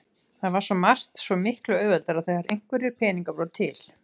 Það var svo margt svo miklu auðveldara þegar einhverjir peningar voru til.